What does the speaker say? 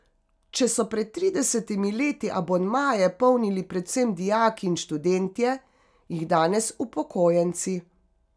Če so pred tridesetimi leti abonmaje polnili predvsem dijaki in študentje, jih danes upokojenci.